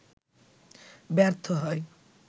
ব্যর্থ হয়